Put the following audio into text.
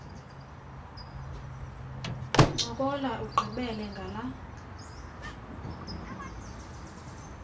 ncokola ugqibele ngala